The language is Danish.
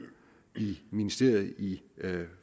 i ministeriet i